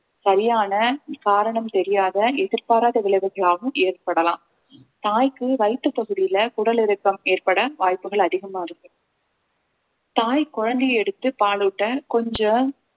சரியான காரணம் தெரியாத எதிர்பாராத விளைவுகளாகவும் ஏற்படலாம் தாய்க்கு வயிற்றுப் பகுதியில குடல் இறக்கம் ஏற்பட வாய்ப்புகள் அதிகமா இருக்கு தாய் குழந்தையை எடுத்து பாலூட்ட கொஞ்ச